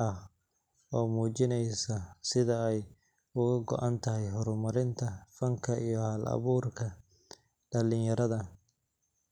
ah oo muujinaysa sida ay uga go'an tahay horumarinta fanka iyo hal-abuurka dhalinyarada.